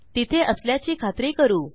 तिथे असल्याची खात्री करू